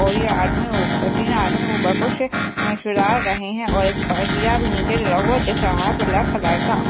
और ये आदमी तीन आदमी दिख रहा है ब्लैक कलर का।